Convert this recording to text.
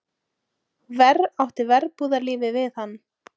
Verr átti verbúðarlífið við hann.